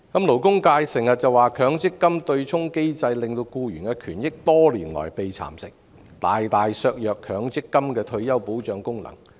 勞工界經常說強積金對沖機制令僱員權益多年來被蠶食，大大削弱強積金的退休保障功能。